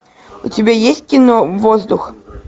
у тебя есть кино воздух